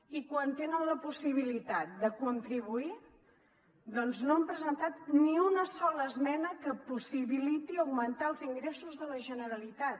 i quan tenen la possibilitat de contribuir doncs no han presentat ni una sola esmena que possibiliti augmentar els ingressos de la generalitat